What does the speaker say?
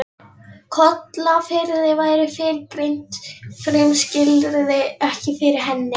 Kollafirði væru fyrrgreind frumskilyrði ekki fyrir hendi.